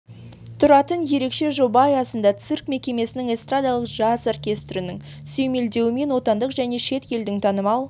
тұратын ерекше жоба аясында цирк мекемесінің эстрадалық джаз оркестрінің сүйемелдеуімен отандық және шет елдің танымал